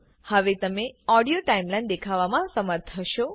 હવે તમે audio timeline દેખવામાં સમર્થ હશો